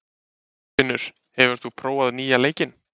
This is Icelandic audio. Herfinnur, hefur þú prófað nýja leikinn?